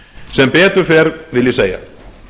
sem betur fer vil ég segja